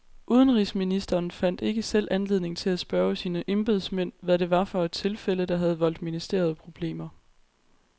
Udenrigsministeren fandt ikke selv anledning til at spørge sine embedsmænd, hvad det var for et tilfælde, der havde voldt ministeriet problemer.